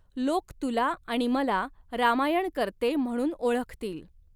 लोक तुला आणि मला रामायणकर्ते म्हणून ओळखतील !